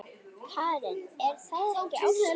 Karen: Er það ekki ástin?